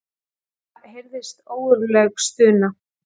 Það heyrðist ógurleg stuna.